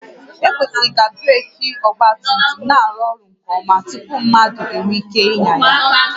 Ekwesịrị ka breeki ọgba tum tum na-arụ ọrụ nke ọma tupu mmadụ enwee ike ịnya ya